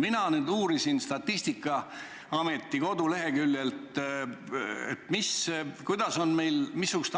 Mina uurisin Statistikaameti koduleheküljelt, missugused